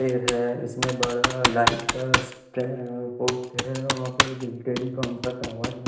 पेड़ हैं इसमें बड़हर लाइट का बोर्ड है वहां पे टेलिकॉम का टॉवर हैं।